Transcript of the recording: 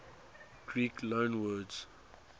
greek loanwords